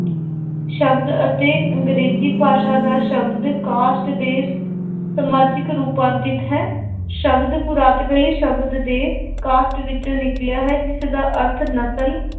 ਸ਼ਬਦ ਅਤੇ ਅੰਗਰੇਜ਼ੀ ਭਾਸ਼ਾ ਦਾ ਸ਼ਬਦ caste ਦੇ ਸਮਾਜਿਕ ਰੁਪਾਂਤਿਤ ਹੈ, ਸ਼ਬਦ ਸ਼ਬਦ ਦੇ caste ਵਿੱਚੋਂ ਨਿਕਲਿਆ ਹੈ ਜਿਸਦਾ ਅਰਥ ਨਸ਼ਲ